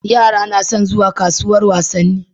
Yara nason zuwa kasuwar wasanni